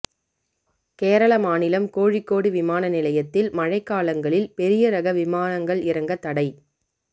கேரள மாநிலம் கோழிக்கோடு விமான நிலையத்தில் மழைக்காலங்களில் பெரிய ரக விமானங்கள் இறங்க தடை